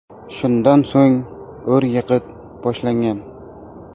Shundan so‘ng ur-yiqit boshlangan.